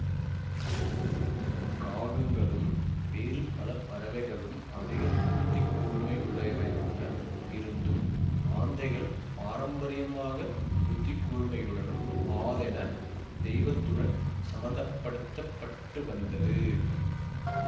காகங்களும் வேறு பல பறவைகளும் அதிக புத்திக்கூர்மையுள்ளவையாக இருந்தும் ஆந்தைகள் பாரம்பரியமாகப் புத்திக்கூர்மையுடனும் ஆதென தெய்வத்துடனும் சம்பந்தப்படுத்தப்பட்டு வந்தது